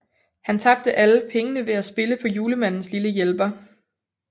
Han tabte alle pengene ved at spille på Julemandens lille hjælper